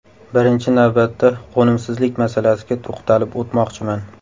Birinchi navbatda qo‘nimsizlik masalasiga to‘xtalib o‘tmoqchiman.